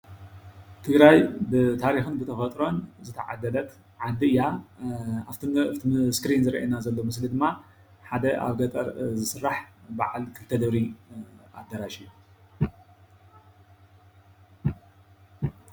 ትግራይ ብታሪኽን ብተፈጥሮን ዝተዓደለት ዓዲ እያ። ኣብቲ ስክሪን ዝረአየና ዘሎ ምስሊ ድማ ሓደ ኣብ ገጠር ዝስራሕ በዓል ክልተ ደብሪ ኣዳራሽ እዩ።